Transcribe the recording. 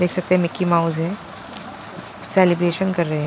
देख सकते हैं मिक्की माउस है सेलिब्रेशन कर रहे हैं।